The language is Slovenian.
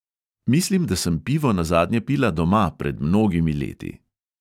Mislim, da sem pivo nazadnje pila doma, pred mnogimi leti.